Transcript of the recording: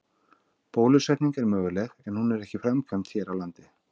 Bólusetning er möguleg en hún er ekki framkvæmd hér á landi.